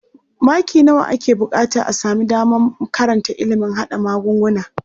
Maki nawa ake buƙata a sami damar karanta ilimin haɗa magunguna?